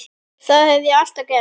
Það hef ég alltaf gert